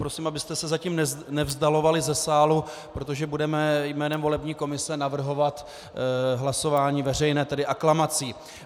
Prosím, abyste se zatím nevzdalovali ze sálu, protože budeme jménem volební komise navrhovat hlasování veřejné, tedy aklamací.